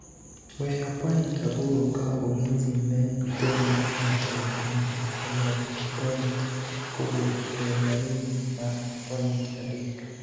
weyo point aboro ka Ulinzi ne temo matek mondo olok point kowuok e laini mar point adek